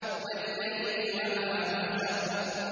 وَاللَّيْلِ وَمَا وَسَقَ